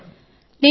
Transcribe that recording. నమస్తే జీ